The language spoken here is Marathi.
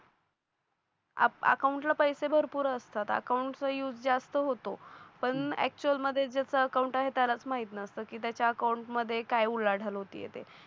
अकाउंटला पैसे भरपूर असतात अकाउंटचा युज जास्त होतो पण एक्चुअल मध्ये जसा अकाउंट आहे त्यालाच माहित नसतं की त्याच्या अकाउंट मध्ये काय उलाढाल होती आहे ते